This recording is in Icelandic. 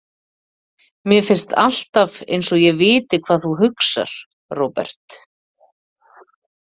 Mér finnst alltaf einsog ég viti hvað þú hugsar, Róbert.